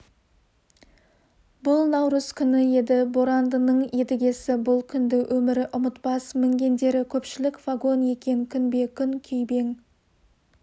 бұл наурыз күні еді борандының едігесі бұл күнді өмірі ұмытпас мінгендері көпшілік вагон екен күнбе-күн күйбең